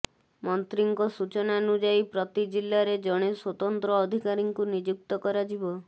ମନ୍ତ୍ରୀଙ୍କ ସୂଚନାନୁଯାୟୀ ପ୍ରତି ଜିଲ୍ଲାରେ ଜଣେ ସ୍ୱତନ୍ତ୍ର ଅଧିକାରୀଙ୍କୁ ନିଯୁକ୍ତ କରାଯିବ